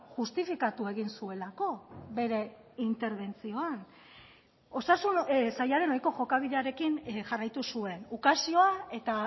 justifikatu egin zuelako bere interbentzioan osasun sailaren ohiko jokabidearekin jarraitu zuen ukazioa eta